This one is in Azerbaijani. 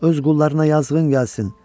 Öz qullarına yazığın gəlsin.